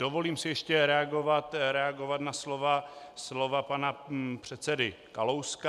Dovolím si ještě reagovat na slova pana předsedy Kalouska.